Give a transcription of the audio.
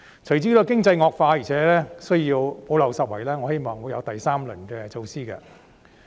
隨着經濟惡化，而且需要補漏拾遺，我希望會推出第三輪措施。